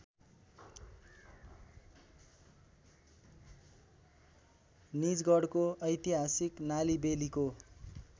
निजगढको ऐतिहासिक नालिबेलिको